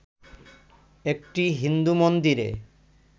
একটি হিন্দু মন্দিরে